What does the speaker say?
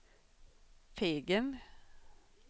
Fegen